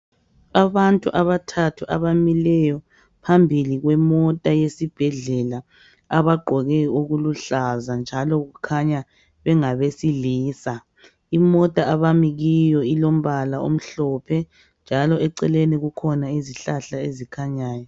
Abantu abathathu abamileyo phambili kwemota yesibhedlela abagqoke okuluhlaza njalo kukhanya bengabesilisa. Imota abami kiyo ilombala omhlophe njalo eceleni kukhona izihlahla ezikhanyayo.